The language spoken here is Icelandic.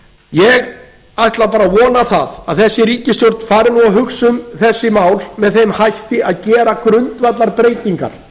ég ætla bara að vona það að þessi ríkisstjórn fari nú að hugsa um þessi mál með þeim hætti að gera grundvallarbreytingar